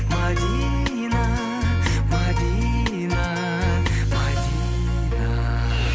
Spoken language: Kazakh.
мәдина мәдина мәдина